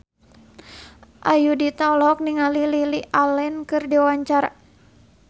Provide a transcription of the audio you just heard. Ayudhita olohok ningali Lily Allen keur diwawancara